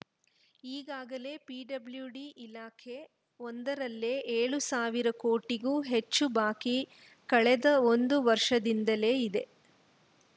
ಈಗಾಗಲೇ ಪಿಡಬ್ಲ್ಯುಡಿ ಇಲಾಖೆ ಒಂದರಲ್ಲೇ ಏಳು ಸಾವಿರ ಕೋಟಿಗೂ ಹೆಚ್ಚು ಬಾಕಿ ಕಳೆದ ಒಂದು ವರ್ಷದಿಂದಲೇ ಇದೆ